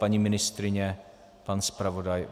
Paní ministryně, pan zpravodaj?